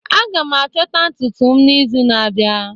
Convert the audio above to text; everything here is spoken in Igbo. Aga m achọta ntutu m n'izu na-abịa